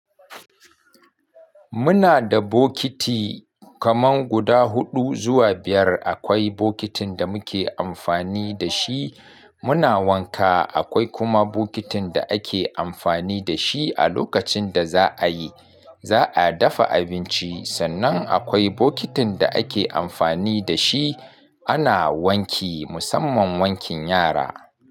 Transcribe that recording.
Muna da bokiti kaman guda huɗu zuwa biyar. Akwai bokitin da muke amfani da shi muna wanka, akwai kuma bokitin da ake amfani da shi a lokacin da za a yi, za a dafa abinci. Sannan akwai bokitin da ake amfani da shi ana wanki, musamman wankin yara.